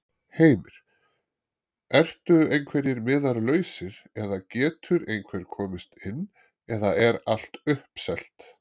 Heimir: Ertu einhverjir miðar lausir eða getur einhver komist inn eða er allt uppselt?